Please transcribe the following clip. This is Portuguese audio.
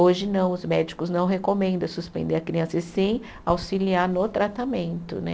Hoje não, os médicos não recomendam suspender a criança, e sim auxiliar no tratamento, né?